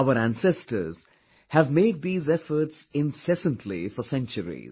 Our ancestors have made these efforts incessantly for centuries